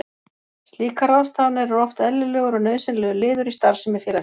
Slíkar ráðstafanir eru oft eðlilegur og nauðsynlegur liður í starfsemi félagsins.